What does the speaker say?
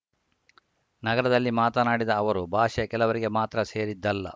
ನಗರದಲ್ಲಿ ಮಾತನಾಡಿದ ಅವರು ಭಾಷೆ ಕೆಲವರಿಗೆ ಮಾತ್ರ ಸೇರಿದ್ದಲ್ಲ